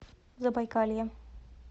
забайкалье